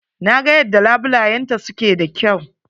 Na ga yadda labulayenta su ke da kyau.